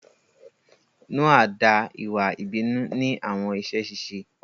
Noa da iwa ibinu ni awọn iṣẹ ṣiṣe